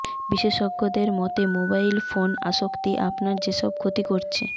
বিশেষজ্ঞদের মতে mobile phone আসক্তি আপনার যেসব ক্ষতি করছে